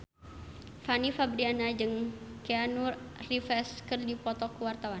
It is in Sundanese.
Fanny Fabriana jeung Keanu Reeves keur dipoto ku wartawan